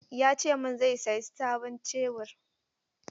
Ya ce min zai saya sabon Shebur.